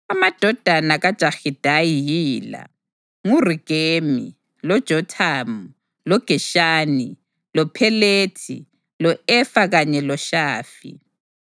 Amadodana kaJahidayi yila: nguRegemi, loJothamu, loGeshani, loPhelethi, lo-Efa kanye loShafi.